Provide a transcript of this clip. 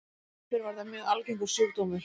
Áður fyrr var þetta mjög algengur sjúkdómur.